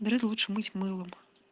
дреды лучше мыть мылом